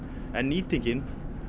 en nýtingin